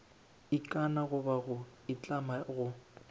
ikana goba go itlama go